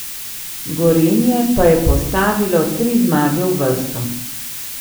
Gorenje pa je postavilo tri zmage v vrsto.